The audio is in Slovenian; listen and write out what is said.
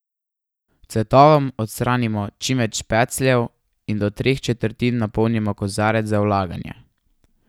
Cvetovom odstranimo čim več pecljev in do treh četrtin napolnimo kozarec za vlaganje.